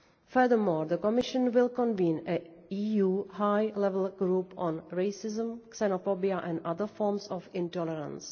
Furthermore, the Commission will convene a high level EU group on racism, xenophobia and other forms of intolerance.